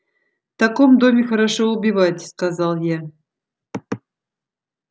в таком доме хорошо убивать сказал я